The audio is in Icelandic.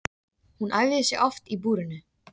Hún æfði sig oft í búrinu.